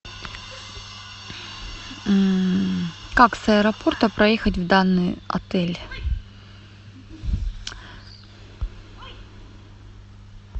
как с аэропорта проехать в данный отель